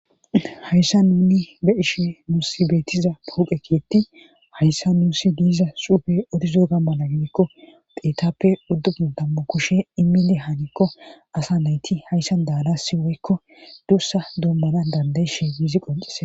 Hayssa nuni be ishe muusi beetiza puqekiyetti hayssa nuusi diiza suufe odizo gammana gidikko peetappe uddofu dammu kushe imili hanikko asa nayti hayssa daalasi woykko duussa duummana dandayishe giizi qoncise.